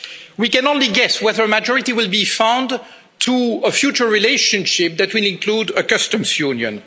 We can only guess whether a majority will be found for a future relationship that will include a customs union.